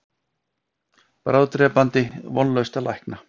Bráðdrepandi, vonlaust að lækna.